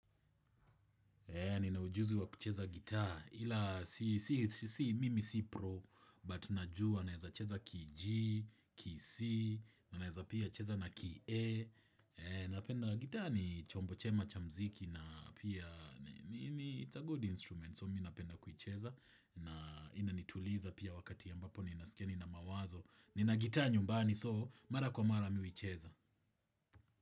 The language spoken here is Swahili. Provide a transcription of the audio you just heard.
Nina ujuzi wa kucheza gitaa, ila si mimi si pro but najua naeza cheza k G, k C, naeza pia cheza na k A. Napenda gitaa ni chombo chema cha mziki na pia it's a good instrument so mi napenda kucheza. Na inanituliza pia wakati ambapo ninaskia nina mawazo. Nina gitaa nyumbani so mara kwa mara mimi huicheza.